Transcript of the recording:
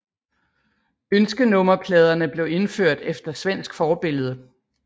Ønskenummerpladerne blev indført efter svensk forbillede